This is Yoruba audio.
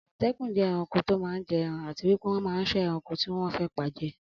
Amọtẹkun jẹ ẹranko tó má n jẹ ẹran àti wípé wọ́n man ṣọ́ ẹranko tí wọ́n fe paje